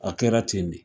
A kɛra ten de